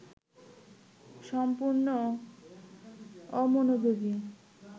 সম্পূর্ণ অমনোযোগী